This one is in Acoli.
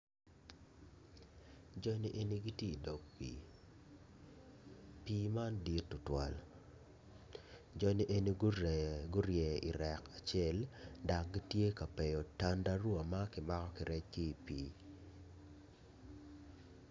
Joni eni gitye i dog pii pii man dit tutwal joni eni grye i rek acel dok gitye ka peyo tandarua ma ki mako kirec ki i pii.